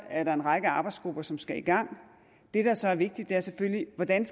er der en række arbejdsgrupper som skal i gang det der så er vigtigt er selvfølgelig hvordan